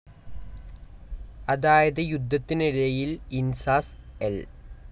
അതായത് യുദ്ധത്തിനിടയിൽ ഇൻസാസ്‌ എൽ.